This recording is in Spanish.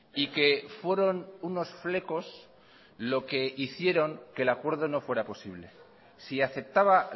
y que fueron unos flecos lo que hicieron que el acuerdo no fuera posible si aceptaba